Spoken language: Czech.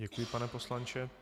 Děkuji, pane poslanče.